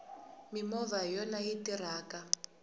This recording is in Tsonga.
mimovha hiyona yi tirhaka